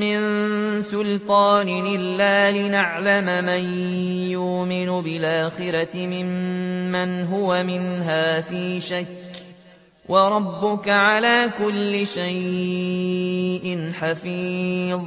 مِّن سُلْطَانٍ إِلَّا لِنَعْلَمَ مَن يُؤْمِنُ بِالْآخِرَةِ مِمَّنْ هُوَ مِنْهَا فِي شَكٍّ ۗ وَرَبُّكَ عَلَىٰ كُلِّ شَيْءٍ حَفِيظٌ